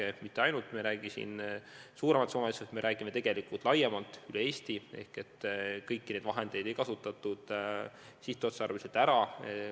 Me ei räägi ainult Tallinnas suurematest summadest, me räägime tegelikult laiemalt: üle Eesti ei kasutatud neid vahendeid sihtotstarbeliselt ära.